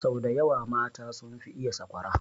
Sau daya wa mata sun fi iya sakwara